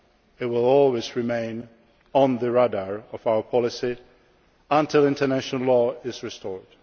it will always remain on the radar of our policy until international law is restored.